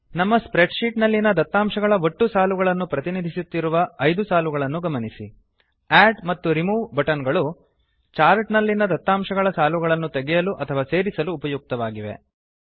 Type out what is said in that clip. ನಮ್ಮ spreadsheet ನಲ್ಲಿನ ದತ್ತಾಂಶಗಳ ಒಟ್ಟು ಸಾಲುಗಳನ್ನು ಪ್ರತಿನಿಧಿಸುತ್ತಿರುವ 5 ಸಾಲಗಳನ್ನು ಗಮನಿಸಿ ಅಡ್ ಮತ್ತು ರಿಮೂವ್ ಬಟನ್ ಗಳು ಚಾರ್ಟ್ ನಲ್ಲಿನ ದತ್ತಾಂಶಗಳ ಸಾಲುಗಳನ್ನು ತೆಗೆಯಲು ಅಥವಾ ಸೇರಿಸಲು ಉಪಯುಕ್ತವಾಗಿವೆ